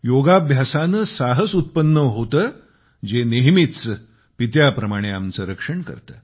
योगाभ्यासाने साहस उत्पन्न होते जे नेहमीच पित्याप्रमाणे आमचे रक्षण करते